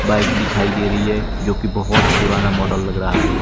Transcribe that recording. Bike दिखाई दे रही है जो की बहुत पुराना मॉडल लग रहा है।